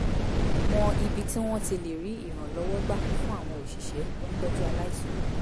mọ ibi tí wọ́n ti lè rí ìrànlọ́wọ́ gbà fún àwọn òṣìṣẹ́ tó ń tọ́jú aláìsàn